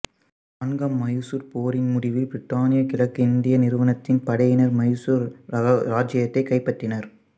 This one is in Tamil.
நான்காம் மைசூர் போரின் முடிவில் பிரித்தானிய கிழக்கிந்திய நிறுவனத்தின் படையினர் மைசூர் இராச்சியத்தைக் கைப்பற்றினர்